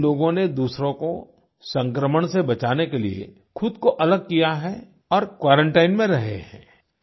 इन लोगों ने दूसरों को संक्रमण से बचाने के लिए ख़ुद को अलग किया है और क्वारंटाइन में रहे हैं